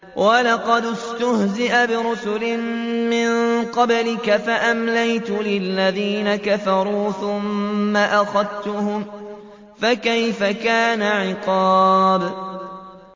وَلَقَدِ اسْتُهْزِئَ بِرُسُلٍ مِّن قَبْلِكَ فَأَمْلَيْتُ لِلَّذِينَ كَفَرُوا ثُمَّ أَخَذْتُهُمْ ۖ فَكَيْفَ كَانَ عِقَابِ